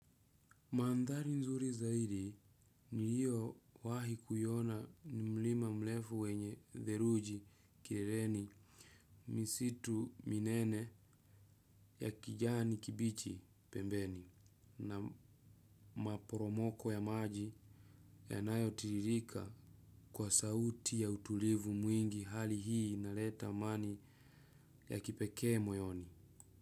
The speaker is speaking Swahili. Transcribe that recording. Mandhari nzuri zaidi niliyo wahi kuiona ni mlima mrefu wenye theruji kileleni misitu minene ya kijani kibichi pembeni na maporomoko ya maji yanayo tiririka kwa sauti ya utulivu mwingi hali hii inaleta amani ya kipekee moyoni.